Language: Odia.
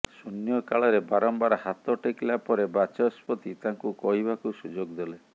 ଶୂନ୍ୟକାଳରେ ବାରମ୍ବାର ହାତ ଟେକିଲା ପରେ ବାଚସ୍ପତି ତାଙ୍କୁ କହିବାକୁ ସୁଯୋଗ ଦେଲେ